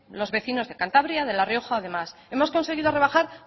los vecinos de cantabria de la rioja o demás hemos conseguido rebajar